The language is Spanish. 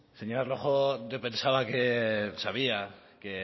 señora rojo yo pensaba que sabía que